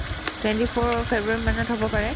twenty four ৰৰ ফেব্ৰুৱাৰী মানত হ'ব পাৰে